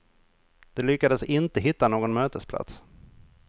De lyckades inte hitta någon mötesplats.